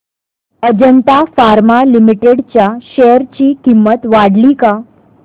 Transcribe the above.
Ajanta pharma limited च्या share ची किंमत वाढली का